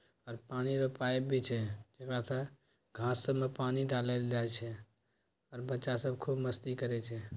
आर पानी के पाइप भी छै जेकारा से घास सब मे पानी डालएल छै आर बच्चा सब खूब मस्ती करय छै।